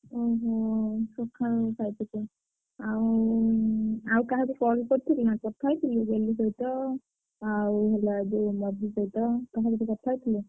ଓହୋ! ସଖାଳୁ ଖାଇ ଆଉ ଆଉ କାହାକୁ call କରିଥିଲୁ ନା କଥା ହେଇଥିଲୁ ଡଲି ସହିତ ଆଉ ହେଲା ଯୋଉ ମଧୁ ସହିତ କାହା ସହିତ କଥା ହେଇଥିଲୁ?